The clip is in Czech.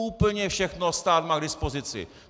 Úplně všechno stát má k dispozici.